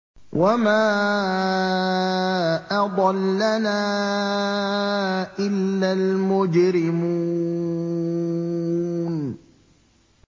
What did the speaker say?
وَمَا أَضَلَّنَا إِلَّا الْمُجْرِمُونَ